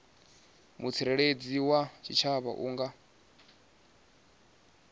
mutsireledzi wa tshitshavha a nga